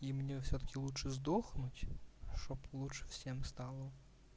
и мне всё-таки лучше сдохнуть чтоб лучше всем стало